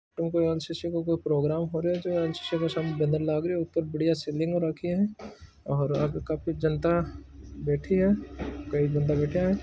ओ कोई एनसीसी का प्रोग्राम हो राय है जो एनसीसी का बैनर लाग रह ऊपर बढ़िया सीलिंग हो रखी है और काफी जनता बेठी है काई बन्दा बेठे है।